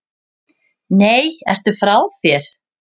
Nei, ertu frá þér!